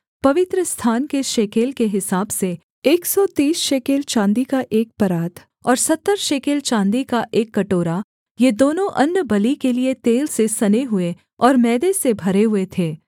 अर्थात् पवित्रस्थान के शेकेल के हिसाब से एक सौ तीस शेकेल चाँदी का एक परात और सत्तर शेकेल चाँदी का एक कटोरा ये दोनों अन्नबलि के लिये तेल से सने हुए और मैदे से भरे हुए थे